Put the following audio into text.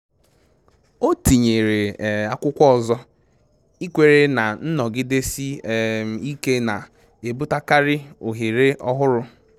O tinyere akwụkwọ ọzọ, ikwere na nnọgidesi um ike na-ebutekarị ohere ọhụrụ